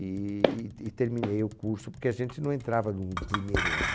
E e terminei o curso, porque a gente não entrava no primeiro ano.